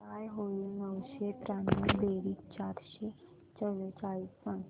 काय होईल नऊशे त्र्याण्णव बेरीज चारशे चव्वेचाळीस सांग